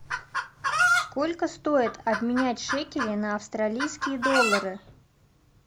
сколько стоит обменять шекели на австралийские доллары